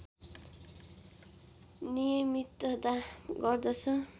नियमितता गर्दछ